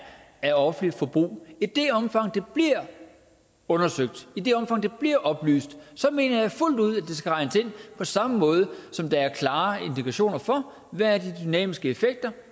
af offentligt forbrug i det omfang det bliver undersøgt i det omfang det bliver oplyst mener jeg fuldt ud at det skal regnes ind på samme måde som der er klare indikationer for hvad de dynamiske effekter